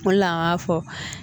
O de la an b'a fɔ